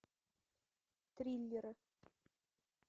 триллеры